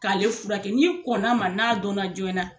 K'ale furakɛ n'i kɔnn'a ma n'a dɔnna joona